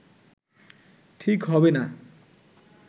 ঠিক হবে না